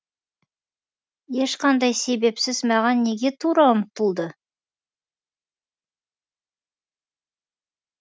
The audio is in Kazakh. ешқандай себепсіз маған неге тұра ұмтылды